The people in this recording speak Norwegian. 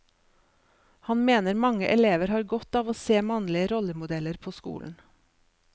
Han mener mange elever har godt av å se mannlige rollemodeller på skolen.